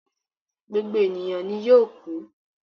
Gbogbo eniyan ni yoo kú